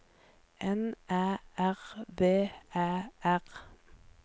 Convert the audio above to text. N Æ R V Æ R